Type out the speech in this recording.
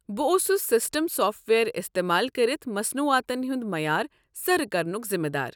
بہٕ اوسُس system software استعمال کٔرتھ مصنوعاتن ہنٛد معیار سرٕ كرنُک ذِمہٕ دار۔